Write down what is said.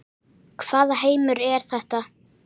Hvaða heimur er þetta?